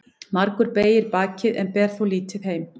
Margur beygir bakið en ber þó lítið heim.